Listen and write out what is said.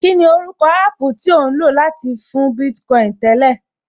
Kíni orúkọ app tí ò ń lò láti fún Bitcoin tẹ́lẹ̀?